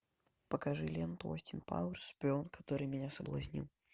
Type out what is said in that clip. покажи ленту остин пауэрс шпион который меня соблазнил